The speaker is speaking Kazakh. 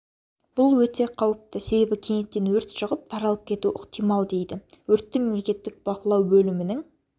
бұл өте қауіпті себебі кенеттен өрт шығып таралып кетуі ықтимал дейді өртті мемлекеттік бақылау бөлімінің